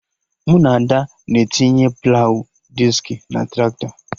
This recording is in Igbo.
Mụ na Ada na-etinye plawụ diski na Traktọ